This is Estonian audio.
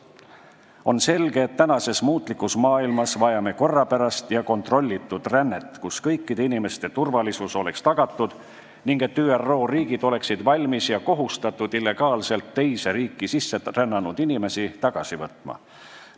On selge, et praeguses muutlikus maailmas vajame korrapärast ja kontrollitud rännet, kus oleks tagatud kõikide inimeste turvalisus, ning seda, et ÜRO riigid oleksid valmis ja kohustatud illegaalselt teise riiki sisse rännanud inimesi tagasi võtma.